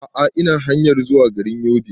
A'a ina hanyar zuwa garin Yobe